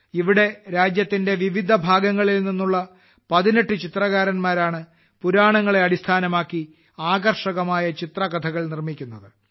ഇവിടെ രാജ്യത്തിന്റെ വിവിധ ഭാഗങ്ങളിൽ നിന്നുള്ള 18 ചിത്രകാരന്മാരാണ് പുരാണങ്ങളെ അടിസ്ഥാനമാക്കി ആകർഷകമായ ചിത്രകഥകൾ നിർമ്മിക്കുന്നത്